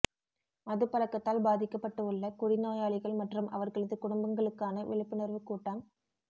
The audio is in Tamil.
மது பழக்கத்தால் பாதிக்கப்பட்டு உள்ள குடி நோயாளிகள் மற்றும் அவர்களது குடும்பங்களுக்கான விழிப்புணர்வு கூட்டம்